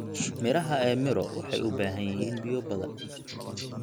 Midhaha ee miro waxay u baahan yihiin biyo badan.